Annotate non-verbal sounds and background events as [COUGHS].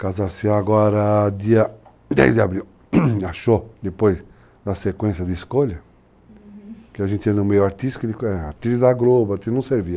Casar-se-á agora, dia 10 de abril, [COUGHS] achou, depois da sequência de escolha, que a gente ia no meio artístico, atriz da Globo, aquilo não servia.